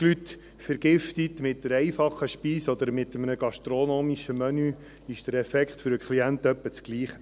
Wenn Sie dreissig Leute mit einer einfachen Speise oder mit einem gastronomischen Menü vergiften, ist der Effekt für den Klienten etwa derselbe.